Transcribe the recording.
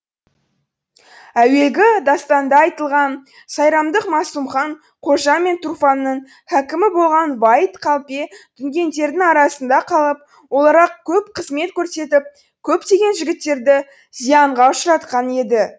әуелгі дастанда айтылған сайрамдық масумхан қожа мен тұрфанның хәкімі болған ваид қалпе дүнгендердің арасында қалып оларға көп қызмет көрсетіп көптеген жігіттерді зиянға ұшыратқан еді